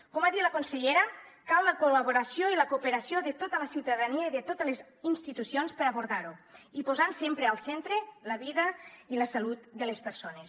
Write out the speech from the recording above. com ha dit la consellera cal la col·laboració i la cooperació de tota la ciutadania i de totes les institucions per abordar ho i posant sempre al centre la vida i la salut de les persones